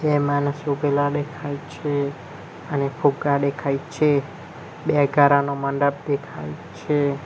બે માનસ ઊભેલા ડેખાય છે અને ફુગ્ગા ડેખાય છે બે ગારોનો મંડપ દેખાય છે.